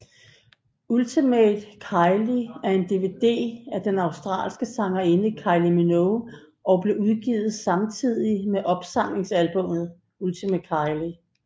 Ultimate Kylie er en DVD af den australske sangerinde Kylie Minogue og blev udgivet samtidig med opsamlingsalbumet Ultimate Kylie